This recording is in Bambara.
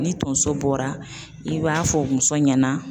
Ni tonso bɔra i b'a fɔ muso ɲɛna.